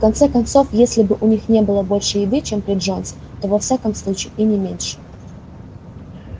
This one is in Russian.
в конце концов если у них и не было больше еды чем при джонсе то во всяком случае и не меньше